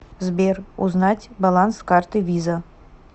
сбер узнать баланс карты виза